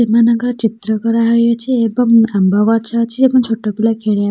ଏମାନଙ୍କ ଚିତ୍ର କରାହୋଇଅଛି ଏବଂ ଆମ୍ବ ଗଛ ଅଛି ଏବଂ ଛୋଟ ପିଲା ଖେଳିବା --